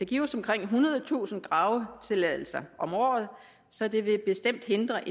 gives omkring ethundredetusind gravetilladelser om året så det vil bestemt hindre